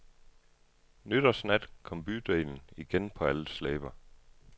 Nytårsnat kom bydelen igen på alles læber.